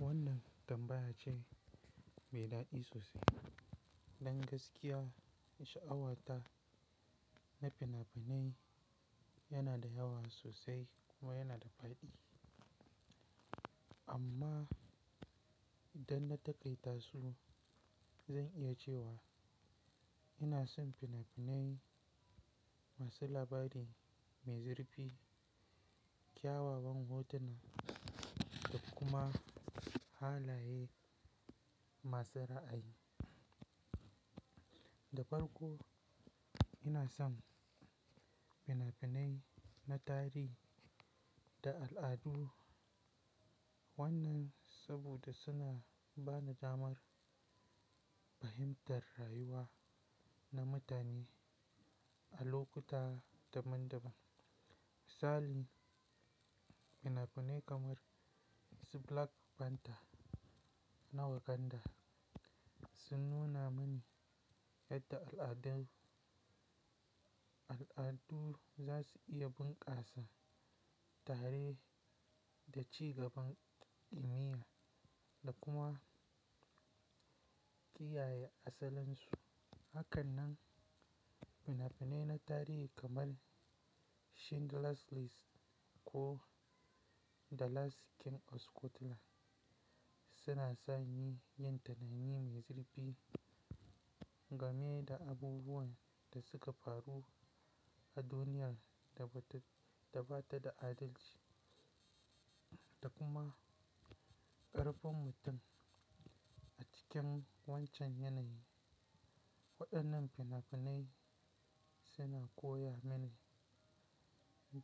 Wannan tambaya ce mai daɗi sosai. Dan gaskiya sha'awata na fina-finai yana da yawa sosai kuma yana da faɗi. Amma idan na taƙaita su, zan iya cewa ina son fina-finai masu labari mai zurfi, kyawawan hotuna da kuma halaye masu ra'ayi. Da farko, ina son fina-finai na tarihi da al'adu. Wannan saboda suna ba ni damar fahimtar rayuwa na mutane a lokuta daban-daban. Misali, fina-finai kamar su Black Panther na Wakanda sun nuna mani yadda al'adu, al'adu za su iya bunƙasa tare da ci gaban ilimiya da kuma kiyaye asalinsu. Hakanan fina-finai na tarihi kamar Schindler's List ko The Last King of Scotland suna sani yin tunani mai zurfi game da abubuwan da suka faru a duniya da ba ta da adalci, da kuma ƙarfin mutum a cikin wancan yanayi. Waɗannan fina-finai suna koya mini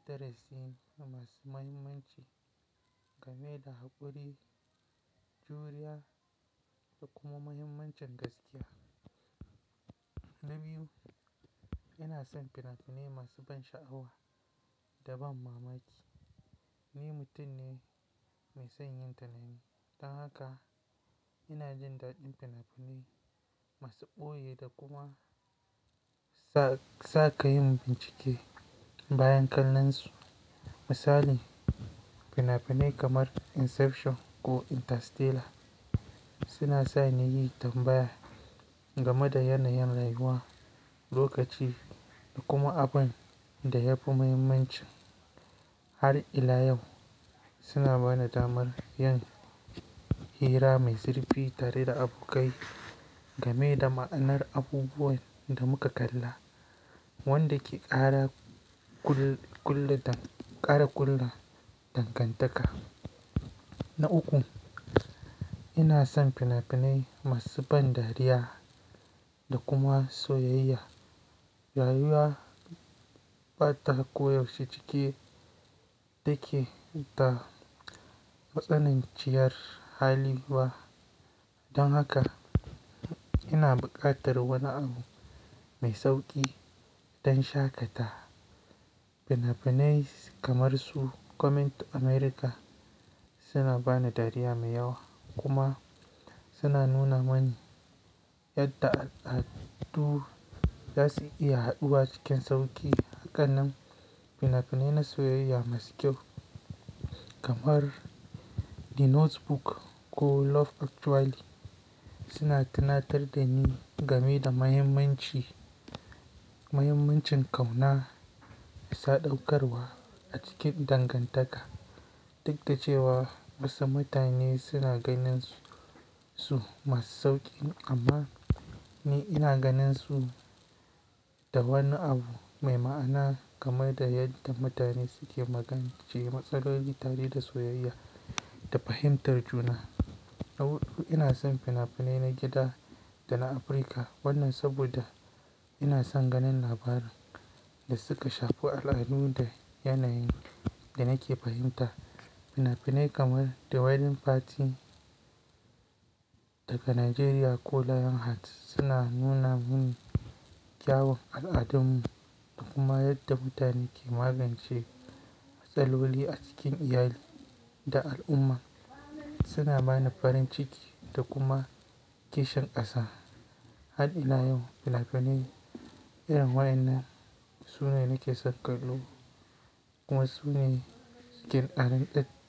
darasi masu mahimmanci game da haƙuri, juriya da kuma muhimmancin gaskiya. Na biyu, ina son fina-finai masu ban sha'awa da ban mamaki. Ni mutum ne mai son yin tunani, don haka ina jin daɗin fina-finai masu ɓoye da kuma sakayin bincike bayan kallon su. Misali, fina-finai kamar Inception ko Interstellar suna sani yi tambaya game da yanayin rayuwa, lokaci da kuma abin da ya fi muhimmanci. Har ila yau suna ba ni damar yin hira mai zurfi tare da abokai game da ma'anar abubuwan da muka kalla, wanda ke ƙara kul, ƙulla dang, ƙara ƙulla dangantaka. Na uku, ina son fina-finai masu ban dariya da kuma soyayya. Rayuwa ba ta koyaushe cike take da matsanan ciyar haliyya. Don haka ina buƙatar wani abu mai sauƙi don shaƙata. Fina-finai kamar su Coming to America suna ba ni dariya mai yawa kuma suna nuna mani yadda al'adu za su iya haɗuwa cikin sauƙi. Hakanan fina-finai na soyayya masu kyau kamar The Notebook ko Love Actually suna tunatar da ni game da mahimmanci, mahimmancin ƙauna, sadaukarwa a cikin dangantaka. Duk da cewa wasu mutane suna ganin su masu sauƙi amma ni ina ganin su da wani abu mai ma'ana game da yadda mutane suke magance matsaloli tare da soyayya da fahimtar juna. Na hudu, ina son fina-finai na gida da na Afirka. Wannan saboda ina son ganin labaran da suka shafi al'adu da yanayin da nake fahimta. Fina-finai kamar The Wedding Party daga Najeriya ko Lionheart suna nuna mini kyawun al'adunmu da kuma yadda mutane ke magance matsaloli a cikin iyali da al'umma. Suna ba ni farin ciki da kuma kishin ƙasa. Har ila yau fina-finai irin waɗannan su ne nake son kallo kuma su ne ke ƙarin ɗat.